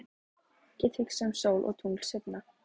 Get hugsað um sól og tungl seinna.